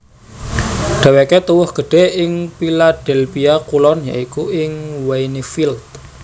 Dhéwéké tuwuh gedhé ing Philadelphia Kulon ya iku ing Wynnefield